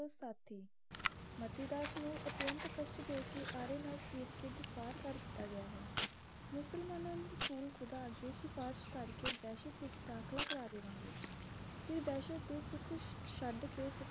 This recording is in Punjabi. ਮਤੀ ਦਾਸ ਨੂੰ ਅਤਿਅੰਤ ਕਸ਼ਟ ਦੇ ਕੇ ਆਰੇ ਨਾਲ ਚੀਰ ਕੇ ਦਫਾੜ੍ਹ ਕਰ ਦਿੱਤਾ ਗਿਆ ਹੈ ਮੁਸਲਮਾਨਾਂ ਨੇ ਸੁਲ ਖੁਦਾ ਅੱਗੇ ਸਿਫਾਰਿਸ਼ ਕਰਕੇ ਦਹਿਸ਼ਤ ਵਿਚ ਦਾਖਲਾ ਕਰਵਾ ਦੇਵਾਂਗੇ ਫਿਰ ਦਹਿਸ਼ਤ ਦੇ ਸੁਖ ਛੱਡ ਕੇ